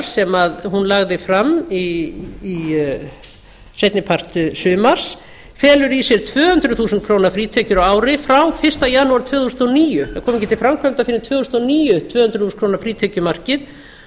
sem hún lagði fram seinni part sumars felur í sér tvö hundruð þúsund krónur frítekjur á ári frá fyrsta janúar tvö þúsund og níu þær koma ekki til framkvæmda fyrr en tvö þúsund og níu tvö hundruð þúsund krónur frítekjumarkið